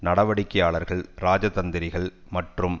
நடவடிக்கையாளர்கள் இராஜதந்திரிகள் மற்றும்